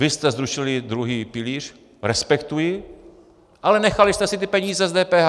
Vy jste zrušili druhý pilíř, respektuji, ale nechali jste si ty peníze z DPH!